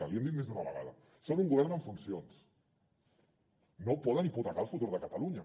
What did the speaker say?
l’hi hem dit més d’una vegada són un govern en funcions no poden hipotecar el futur de catalunya